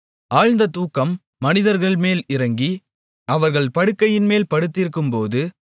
ஆழ்ந்த தூக்கம் மனிதர்மேல் இறங்கி அவர்கள் படுக்கையின்மேல் படுத்திருக்கும்போது